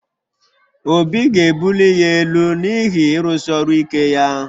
Obi ga-ebuli ya elu n’ihi ịrụsi ọrụ ike ya